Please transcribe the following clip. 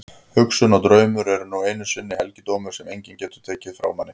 Hugsun og draumar eru nú einu sinni helgidómar sem enginn getur tekið frá manni.